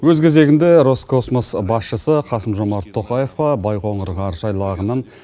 өз кезегінде роскосмос басшысы қасым жомарт тоқаевқа байқоңыр ғарыш айлағының